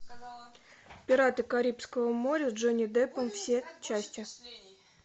пираты карибского моря с джонни деппом все части